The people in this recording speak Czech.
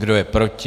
Kdo je proti?